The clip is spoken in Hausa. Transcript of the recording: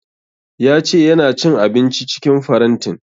Ya ce ya na cin abinci cikin farantin